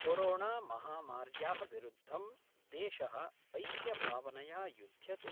कोरोणामहामार्याः विरुद्धं देश: ऐक्यभावनया युद्ध्यते।